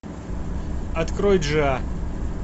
открой джиа